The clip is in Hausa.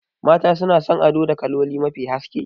Mata suna son ado da kaloli mafi haske